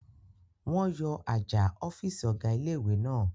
Wọ́n yọ àjà ọ̀fìsì ọ̀gá ilé-ìwé náà